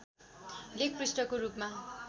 लेख पृष्ठको रूपमा